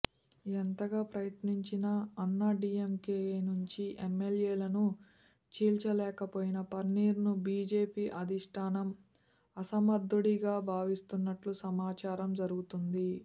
ఎంతగా ప్రయత్నించినా అన్నాడీఎంకే నుంచి ఎమ్మెల్యేలను చీల్చలేకపోయిన పన్నీర్ ను బీజేపీ అధిష్ఠానం అసమర్థుడిగా భావిస్తున్నట్లుగా ప్రచారం జరుగుతోంది